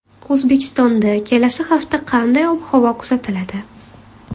O‘zbekistonda kelasi hafta qanday ob-havo kuzatiladi?.